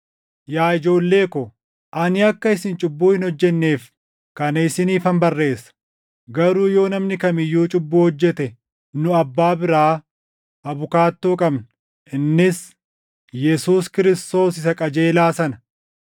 Yaa ijoollee ko, ani akka isin cubbuu hin hojjenneef kana isiniifan barreessa. Garuu yoo namni kam iyyuu cubbuu hojjete nu Abbaa biraa abukaattoo qabna; innis Yesuus Kiristoos Isa Qajeelaa sana.